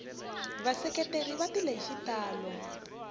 vaseketeri va tile hi xitalo